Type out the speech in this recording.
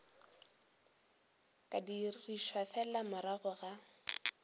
ka dirišwa fela morago ga